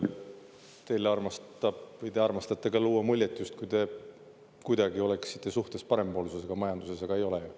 Teie armastate luua muljet, justkui te kuidagi oleksite suhtes parempoolsusega majanduses, aga ei ole.